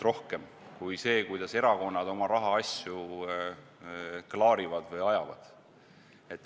... kõik muu, mitte see, kuidas erakonnad oma rahaasju klaarivad või ajavad.